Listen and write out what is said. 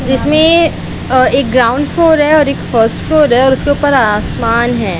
जिसमें अ एक ग्राउंड फ्लोर है और एक फर्स्ट फ्लोर है और ऊपर आसमान है।